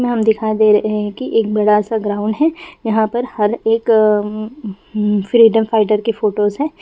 इसमें हम दिखा दे रहे है कि एक बड़ा सा ग्राउंड है यहां पर हर एक फ्रीडम फाइटर की फोटोज है।